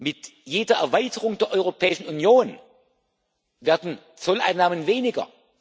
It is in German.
Mit jeder Erweiterung der Europäischen Union werden die Zolleinnahmen weniger.